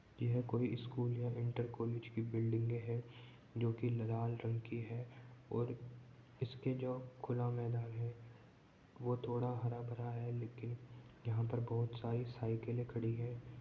यह कोई स्कूल या इनर कॉलेज की बिल्डिंग है जोकि लाल रंग की है और इसके जो खुला मैदान है वह थोड़ा हरा भरा है लेकिन यहां बहुत सारी साइकिलें खड़ी हैं।